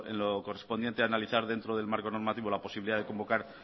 lo correspondiente a analizar dentro del marco normativo la posibilidad de convocar